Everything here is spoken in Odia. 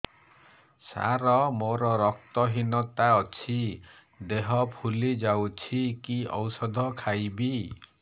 ସାର ମୋର ରକ୍ତ ହିନତା ଅଛି ଦେହ ଫୁଲି ଯାଉଛି କି ଓଷଦ ଖାଇବି